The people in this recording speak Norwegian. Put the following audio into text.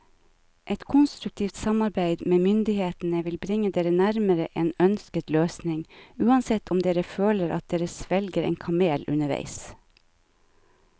Et konstruktivt samarbeid med myndighetene vil bringe dere nærmere en ønsket løsning, uansett om dere føler at dere svelger en kamel underveis.